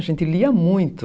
A gente lia muito.